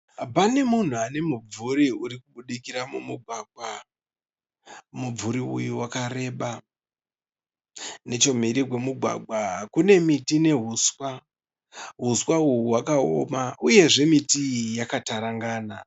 Pane munhu ane mumvuri urikubudikira mumugwagwa. Mumvuri uyu wakareba. Nechemhiri kwemugwagwa kune miti nehuswa. Huswa uyu hwakaoma uye miti iyi yakatarangana.